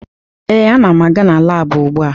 Ee, ana m aga na laabụ ugbua